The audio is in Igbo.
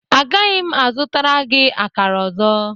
Agaghị m azụtara gị akara ọzọ.